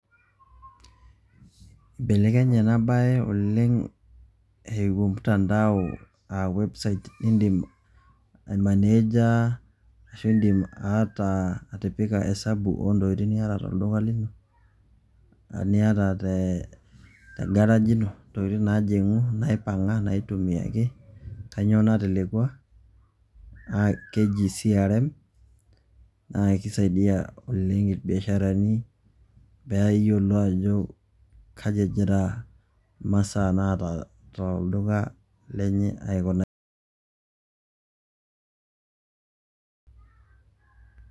Eibelekenye enabae oleng ewuo mtandao a website indim ai manager ashu indim aata osabu niata oltungani.